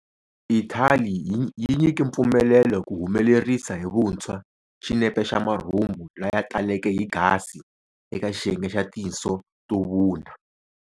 Ithali yi nyike mpfumelelo ku humelerisa hi vunthshwa xinepe xa marhumbu laya taleke hi gasi eka xiyenge xa tinso to vuna.